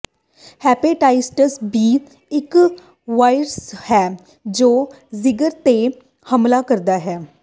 hepatitis B ਇੱਕ virus ਹੈ ਜੋ ਜਿਗਰ ਤੇ ਹਮਲਾ ਕਰਦਾ ਹੈ